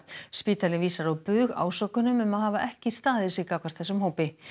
spítalinn vísar á bug ásökunum um að hafa ekki staðið sig gagnvart þessum hópi